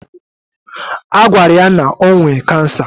Agwara ya na ọ nwe cancer